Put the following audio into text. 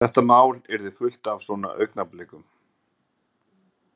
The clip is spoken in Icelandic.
Þetta mál yrði fullt af svona augnablikum.